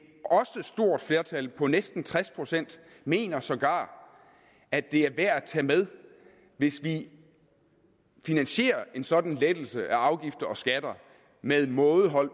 stort flertal på næsten tres procent mener sågar at det er værd at tage med hvis vi finansierer en sådan lettelse af afgifter og skatter med mådehold